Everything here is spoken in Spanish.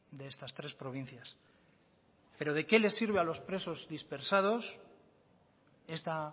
de estas tres provincias pero de qué les sirve a los presos dispersados esta